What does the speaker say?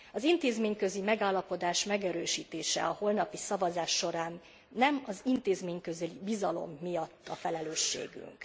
Az intézményközi megállapodás megerősítése a holnapi szavazás során nem az intézményközi bizalom miatt a felelősségünk.